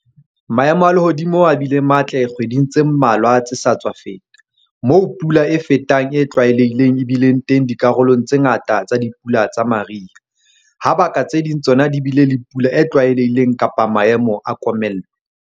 Maemo a lehodimo a bile matle kgweding tse mmalwa tse sa tswa feta, moo pula e fetang e tlwaelehileng e bileng teng dikarolong tse ngata tsa dipula tsa mariha, ha baka tse ding tsona di bile le pula e tlwaelehileng kapa maemo a komello.